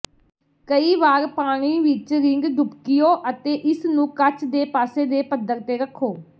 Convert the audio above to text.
ਕਈ ਵਾਰ ਪਾਣੀ ਵਿੱਚ ਰਿੰਗ ਡੁਬਕੀਓ ਅਤੇ ਇਸਨੂੰ ਕੱਚ ਦੇ ਪਾਸੇ ਦੇ ਪੱਧਰ ਤੇ ਰੱਖੋ